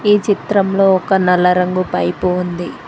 ఈ చిత్రంలో ఒక నల్ల రంగు పైపు ఉంది.